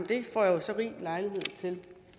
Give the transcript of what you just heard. det får jeg jo så rig lejlighed til